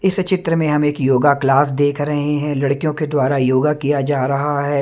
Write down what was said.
इस चित्र में हम एक योगा क्लास देख रहे हैं लड़कियों के द्वारा योगा किया जा रहा है।